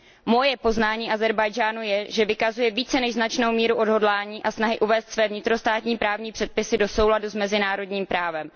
Moje poznání Ázerbájdžánu je, že vykazuje více než značnou míru odhodlání a snahy uvést své vnitrostátní právní předpisy do souladu s mezinárodním právem.